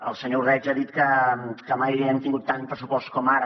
el senyor ordeig ha dit que mai hem tingut tant pressupost com ara